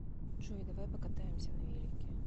джой давай покатаемся на велике